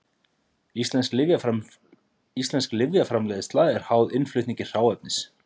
Íslensk lyfjaframleiðsla er háð innflutningi hráefnis.